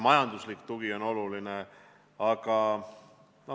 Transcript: Majanduslik tugi on oluline.